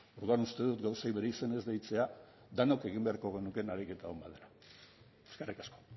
orduan uste dut gauzei bere izenez deitzea denok egin beharko genukeen ariketa on bat dela eskerrik asko